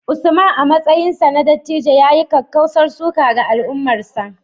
Usman, a matsayinsa na dattijo, ya yi kakkausar suka ga al’ummarsa